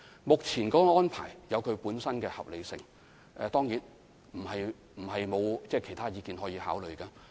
目前的安排有其本身的合理性，當然，這並非表示沒有其他意見可考慮。